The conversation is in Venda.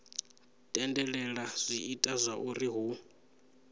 tendelela zwi ita zwauri hu